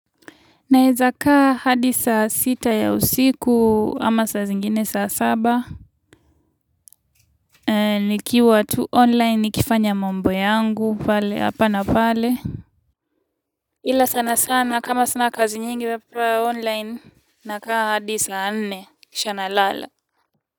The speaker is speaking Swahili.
Naweza kaa hadi saa sita ya usiku ama saa zingine saa saba nikiwa tu online nikifanya mambo yangu hapa na pale ila sana sana kama sina kazi nyingi hapa online na kaa hadi saa nne kisha na ala.